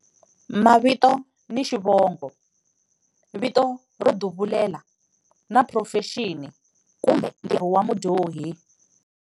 Mavito ni xivongo, vito ro duvulela na phurofexini kumbe ntirho wa mudyohi.